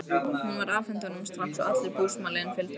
Hún var afhent honum strax og allur búsmalinn fylgdi með.